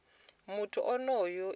muthu onoyo i fhira u